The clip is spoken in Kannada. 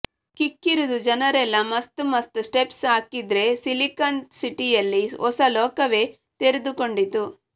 ಕಿಕ್ಕಿರಿದು ಜನರೆಲ್ಲಾ ಮಸ್ತ್ ಮಸ್ತ್ ಸ್ಟೆಪ್ಸ್ ಹಾಕ್ತಿದ್ರೆ ಸಿಲಿಕಾನ್ ಸಿಟಿಯಲ್ಲಿ ಹೊಸ ಲೋಕವೇ ತೆರೆದುಕೊಂಡಿತ್ತು